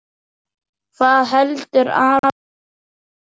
Hvað heldur Aron vel út?